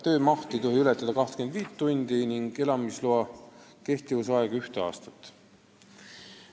Töömaht ei tohi ületada 25 tundi nädalas ning elamisloa kehtivuse aeg ühte aastat.